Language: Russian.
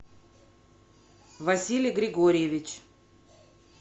василий григорьевич